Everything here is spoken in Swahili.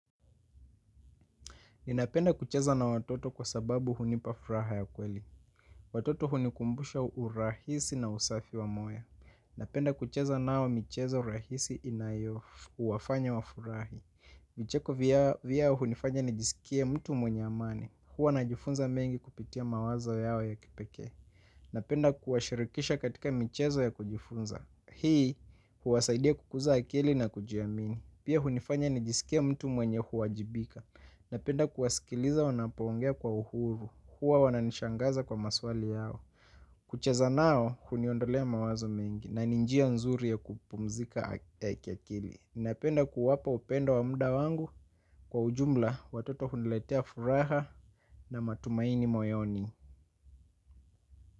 Ninapenda kucheza na watoto kwa sababu hunipa furaha ya kweli. Watoto hunikumbusha urahisi na usafi wa moyo. Napenda kucheza nao michezo rahisi inayo wafanya wafurahi. Vicheko vyao hunifanya nijisikie mtu mwenye amani. Huwa najifunza mengi kupitia mawazo yao ya kipekee. Napenda kuwashirikisha katika michezo ya kujifunza. Hii huwasaidia kukuza akili na kujiamini. Pia hunifanya nijisikia mtu mwenye huwajibika. Napenda kuwasikiliza wanapo ongea kwa uhuru huwa wananishangaza kwa maswali yao. Kucheza nao, huniondolea mawazo mengi, na ni njia nzuri ya kupumzika kiakili ninapenda kuwapa upendo wa muda wangu kwa ujumla, watoto huniletea furaha na matumaini moyoni.